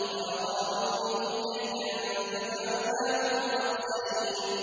وَأَرَادُوا بِهِ كَيْدًا فَجَعَلْنَاهُمُ الْأَخْسَرِينَ